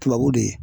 Tubabu de ye